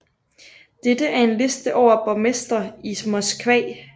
Dette er en liste over borgmestre i Moskva